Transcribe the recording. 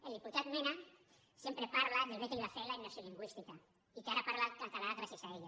el diputat mena sempre parla del bé que li va fer la immersió lingüística i que ara parla català gràcies a ella